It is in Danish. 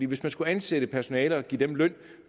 hvis man skulle ansætte personale og give det løn